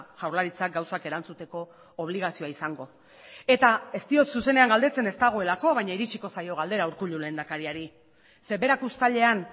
jaurlaritzak gauzak erantzuteko obligazioa izango eta ez diot zuzenean galdetzen ez dagoelako baina iritsiko zaio galdera urkullu lehendakariari ze berak uztailean